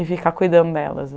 E ficar cuidando delas.